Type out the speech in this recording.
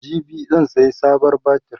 jibi zan saya sabon batir